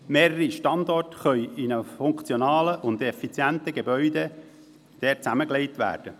Mehrere Standorte können dort in einem funktionalen und effizienten Gebäude zusammengelegt werden.